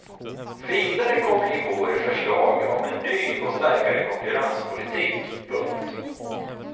Vidare kommer i vår förslag om en ny och starkare konkurrenspolitik. punkt